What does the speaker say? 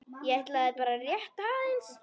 ég ætlaði bara rétt aðeins.